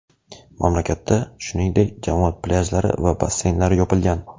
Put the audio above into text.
Mamlakatda, shuningdek, jamoat plyajlari va basseynlar yopilgan.